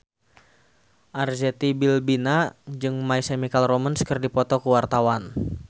Arzetti Bilbina jeung My Chemical Romance keur dipoto ku wartawan